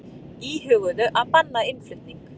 Íhuguðu að banna innflutning